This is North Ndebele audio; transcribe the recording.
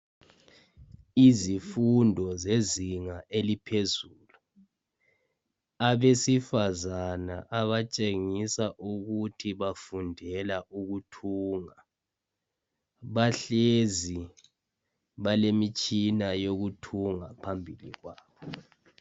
Izifundo zezinga eliphezulu. Abesifazana abatshengisa ukuthi bafundela ukuthunga bahlezi balemitshina yokuthunga phambili kwabo.